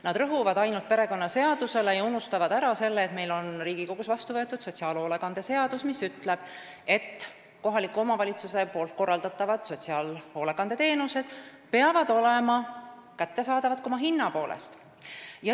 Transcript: Nad rõhuvad ainult perekonnaseadusele, aga unustavad ära selle, et meil on Riigikogus vastu võetud sotsiaalhoolekande seadus, mis ütleb, et kohaliku omavalitsuse korraldatavad sotsiaalhoolekandeteenused peavad olema kättesaadavad, ka oma hinna poolest.